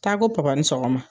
Taa ko Papa ni sɔgɔma